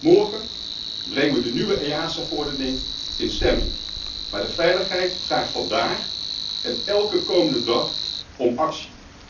Morgen brengen we de nieuwe EASA verordening in stemming, maar de veiligheid vraagt vandaag en elke komende dag om actie.